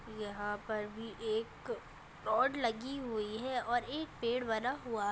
यहा पर भी एक रॉड लगी हुई है और एक पैड बना हुआ है।